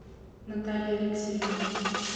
наталья алексеевна